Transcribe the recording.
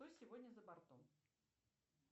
что сегодня за бортом